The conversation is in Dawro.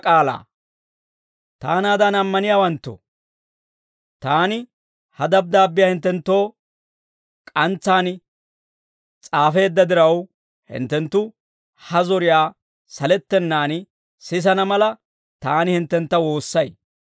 Taanaadan ammaniyaawanttoo, taani ha dabddaabbiyaa hinttenttoo k'antsaan s'aafeedda diraw, hinttenttu ha zoriyaa salettenaan sisana mala, taani hinttentta woossay.